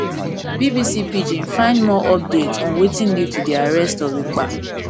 bbc pidgin find more update on wetin lead to di arrest of ekpa